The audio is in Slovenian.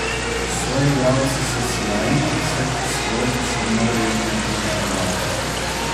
Soigralci so sijajni, vseskozi se moramo izboljševati.